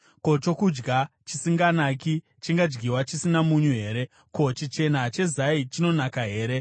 Ko, chokudya chisinganaki chingadyiwa chisina munyu here? Ko, chichena chezai chinonaka here?